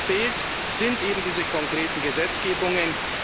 Was uns noch fehlt, sind eben diese konkreten Gesetzgebungen.